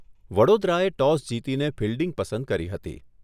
વડોદરાએ toss જીતીને fielding પસંદ કરી હતી.